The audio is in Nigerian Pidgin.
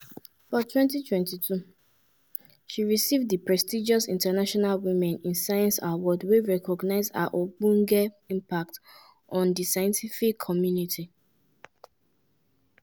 for 2022 she receive di prestigious international women in science award wey recognise her ogbonge impact on di scientific community.